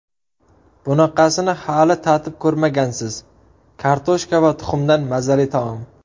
Bunaqasini hali tatib ko‘rmagansiz: kartoshka va tuxumdan mazali taom.